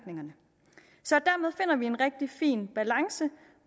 vi en rigtig fin balance